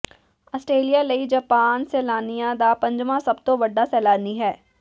Australia ਲਈ Japan ਸੈਲਾਨੀਆਂ ਦਾ ਪੰਜਵਾਂ ਸਭ ਤੋਂ ਵੱਡਾ ਸੈਲਾਨੀ ਹੈ